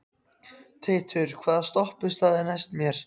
Teitur, hvaða stoppistöð er næst mér?